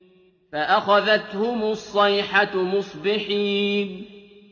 فَأَخَذَتْهُمُ الصَّيْحَةُ مُصْبِحِينَ